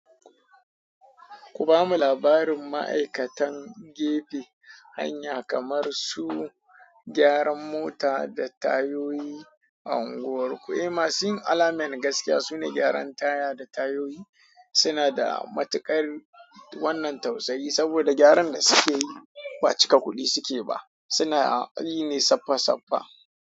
Ku ba mu labarin ma'aikatan gefe hanya kamar su gyaran mota da tayoyi a unguwar ku. Eh, masu yin alamen gaskiya su ne gyaran taya da tayoyi. Ta na da matuƙar wannan tausayi saboda gyaran da suke yi ba cika kuɗi suke ba. Ta na a yi ne saffa saffa.